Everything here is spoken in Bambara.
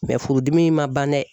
furudimi in ma ban dɛ